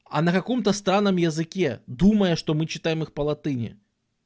а на каком-то странном языке думая что мы читаем их по латыни